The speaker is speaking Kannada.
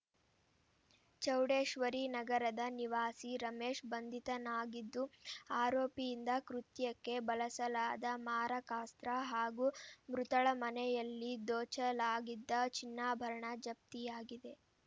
ಚೌಡೇಶ್ವರಿ ನಗರದ ನಿವಾಸಿ ರಮೇಶ್‌ ಬಂಧಿತನಾಗಿದ್ದು ಆರೋಪಿಯಿಂದ ಕೃತ್ಯಕ್ಕೆ ಬಳಸಲಾದ ಮಾರಕಾಸ್ತ್ರ ಹಾಗೂ ಮೃತಳ ಮನೆಯಲ್ಲಿ ದೋಚಲಾಗಿದ್ದ ಚಿನ್ನಾಭರಣ ಜಪ್ತಿಯಾಗಿದೆ